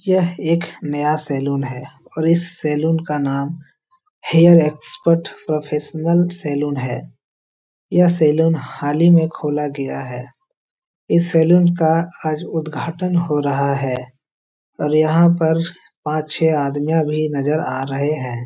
यह एक नया सैलून है और इस सैलून का नाम हेयर एक्सपर्ट प्रोफैशनल सैलून है यह सैलून हाल ही में खोला गया है इस सैलून का आज उद्घाटन हो रहा है और यहाँ पर पाँच छे आदमियां भी नजर आ रहे हैं।